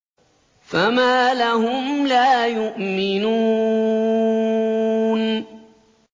فَمَا لَهُمْ لَا يُؤْمِنُونَ